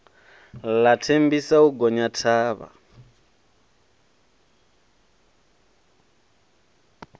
ḽa thembisa u gonya thavha